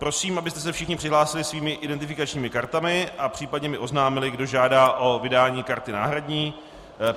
Prosím, abyste se všichni přihlásili svými identifikačními kartami a případně mi oznámili, kdo žádá o vydání karty náhradní.